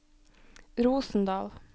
Rosendal